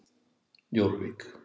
Jórvík